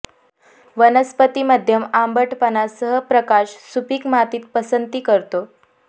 वनस्पती मध्यम आंबटपणा सह प्रकाश सुपीक मातीत पसंती करतो